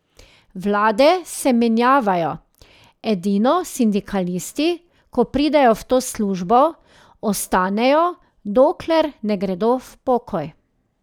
Vlade se menjavajo, edino sindikalisti, ko pridejo v to službo, ostanejo, dokler ne gredo v pokoj.